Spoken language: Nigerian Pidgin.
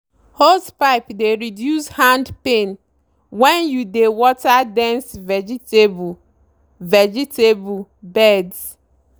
hosepipe dey reduce hand pain when you dey water dense vegetable vegetable beds.